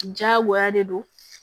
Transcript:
Jagoya de do